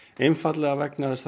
einfaldlega vegna þess að